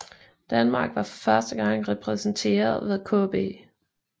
Danmark var for første gang repræsenteret ved KB